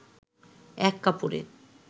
এক কাপড়ে